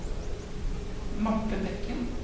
Marthe Bekken